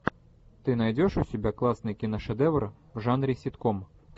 ты найдешь у себя классный киношедевр в жанре ситком